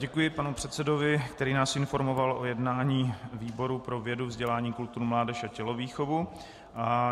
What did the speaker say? Děkuji panu předsedovi, který nás informoval o jednání výboru pro vědu, vzdělání, kulturu, mládež a tělovýchovu.